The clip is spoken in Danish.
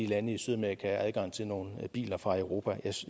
lande i sydamerika adgang til nogle biler fra europa